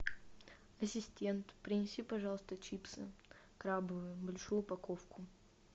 ассистент принеси пожалуйста чипсы крабовые большую упаковку